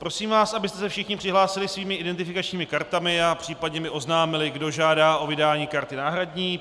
Prosím vás, abyste se všichni přihlásili svými identifikačními kartami a případně mi oznámili, kdo žádá o vydání karty náhradní.